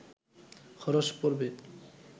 খরচ পড়বে